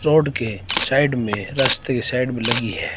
Road के side में रस्ते साइड में लगी है।